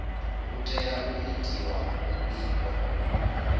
hu tea u itiwa muvhigo